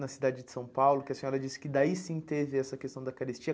Na cidade de São Paulo, que a senhora disse que daí sim teve essa questão da carestia.